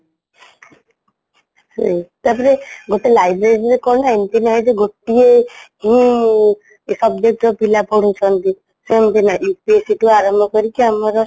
ଉଁ ତାପରେ ଗୋଟେ library ରେ କ'ଣ ନା ଏମିତି ନାହିଁଯେ ଗୋଟିଏ ହିଁ subject ର ପିଲା ପଢୁଛନ୍ତି ସେମିତି ନାହିଁ UPSEଠାରୁ ଆରମ୍ଭ କରିକି ଆମର